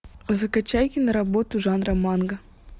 закачай киноработу жанра манго